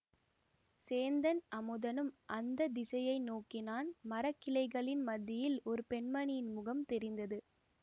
சேந்தன் அமுதனும் அந்த திசையை நோக்கினான் மரக்கிளைகளின் மத்தியில் ஒரு பெண்மணியின் முகம் தெரிந்தது